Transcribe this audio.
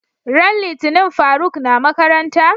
ran litinin faruk na makaranta?